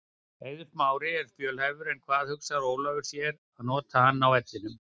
Eiður Smári er fjölhæfur en hvar hugsar Ólafur sér að nota hann á vellinum?